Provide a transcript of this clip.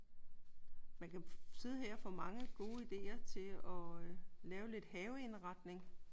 Man kan sidde her og få mange gode idéer til at lave lidt haveindretning